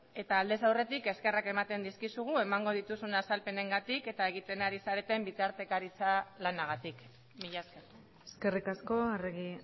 eta aldez aurretik eskerrak ematen dizkizugu emango dituzun azalpenengatik eta egiten ari zareten bitartekaritza lanagatik mila esker eskerrik asko arregi